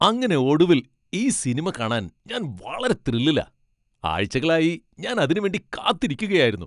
അങ്ങനെ ഒടുവിൽ ഈ സിനിമ കാണാൻ ഞാൻ വളരെ ത്രില്ലിലാ ! ആഴ്ചകളായി ഞാൻ അതിനു വേണ്ടി കാത്തിരിക്കുകയ്ക്കായിരുന്നു.